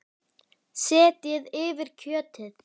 Dóttir hennar er Marta nemi.